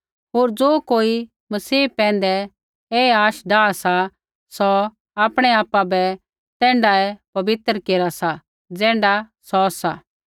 होर ज़ो कोई मसीह पैंधै ऐ आशा डाआ सा सौ आपणै आपा बै तैण्ढाऐ पबित्र केरा सा ज़ैण्ढा सौ सा